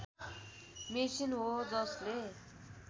machine हो जसले